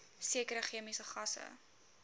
sekere chemiese gasse